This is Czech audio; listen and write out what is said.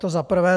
To za prvé.